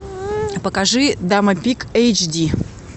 покажи дама пик эйч ди